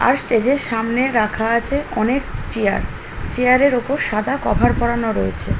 আর stage -এর সামনে রাখা আছে অনেক চেয়ার | চেয়ার -এর ওপর সাদা কভার পরানো রয়েছে।